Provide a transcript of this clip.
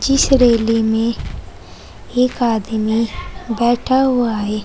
इस रैली में एक आदमी बैठा हुआ है।